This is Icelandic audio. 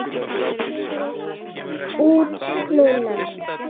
Út núna?